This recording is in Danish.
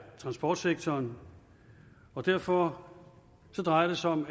transportsektoren og derfor drejer det sig om